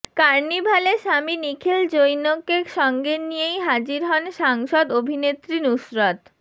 কার্নিভালে স্বামী নিখিল জৈনকে সঙ্গে নিয়েই হাজির হন সাংসদ অভিনেত্রী নুসরত